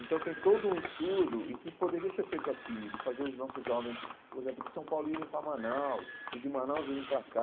Então, tem todo um estudo, e que poderia ser feito aqui, de fazer os nossos jovens, por exemplo, de São Paulo irem para Manaus, os de Manaus irem para cá.